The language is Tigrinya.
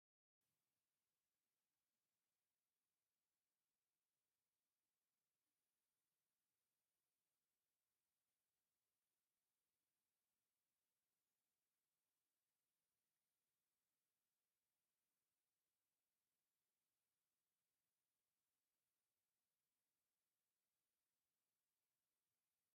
እዚመዝቀኛ ወይ ደራፋይ ኮይኑ ብጣዓሚ ፅቡቅ ደርፉ እውን ብጣዓሚ ጥዑማት እንትከውን ሙሉጌታ ካሕሳይ እደተበሃለ ዝፍለጥ እ ንትከውን ትግራዋይ እንትኮን ቅፅሊሽሙ መን እደተበሃለ ይፅዋዕ?